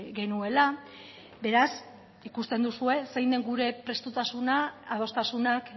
genuela beraz ikusten duzue zein den gure prestutasuna adostasunak